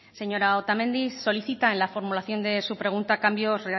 señora otamendi solicita en la formulación de su pregunta cambios